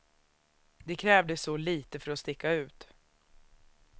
Det krävdes så lite för att sticka ut.